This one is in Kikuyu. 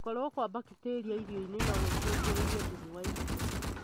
Gũkorwo kwa mbakteria irio-inĩ nogũcũngĩrĩrie thumu wa irio